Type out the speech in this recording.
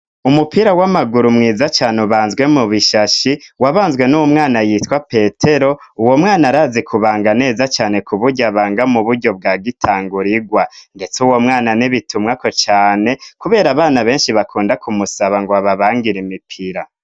Umupira w'amaguru mwiza cyane ubanzwe mu bishashi wabanzwe n'uwo mwana yitwa Petero, uwo mwana arazi kubanga neza cane kubujyo abanga mu bujyo bwa gitangurigwa, ndetse uwo mwana n'ibitumwako cyane kubera abana benshi bakunda kumusaba ngo ababangira imipira.